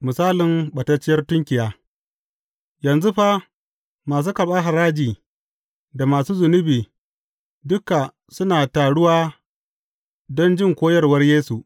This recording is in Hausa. Misalin ɓatacciyar tunkiya Yanzu fa, masu karɓar haraji da masu zunubi duka suna taruwa don jin koyarwar Yesu.